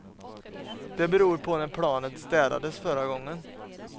Det beror på när planet städades förra gången.